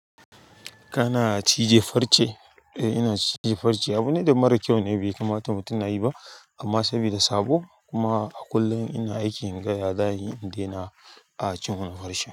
Kana cije farce? Eh ina cije farce. Abune da mara kyau ne, bai kamata mutum na yi ba. Amma sabida sabo kuma a kullum ina aiki in ga ya za'ayi in, de na. A cin wannan farcen.